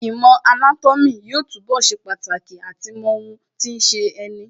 Īmò anátómī yóò túnbọ̀ ṣe pàtàkì àti mọ ohun tí ń ṣeni